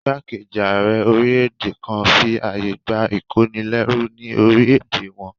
Ìgbákejì ààrẹ orílẹ̀-èdè kan fi àyè gbà ìkónilẹ́rú ní orílẹ̀-èdè wọn